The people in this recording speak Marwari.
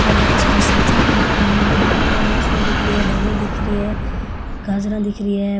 और इतनी सारी सब्जिया पड़ी है निम्बू दिख रही है मूसली दिख रही है धनि दिखरी है गाजरा दिख रही है।